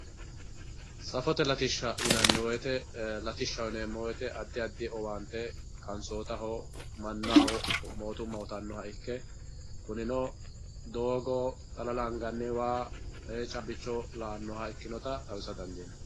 Saffote latisha yinemowoyit saffote latisha adi adi owaante qansootaho manaho mootuma uyitanoha ikke kunino doogo xalala angani waa caabibicho ikinota xawisa dandinani.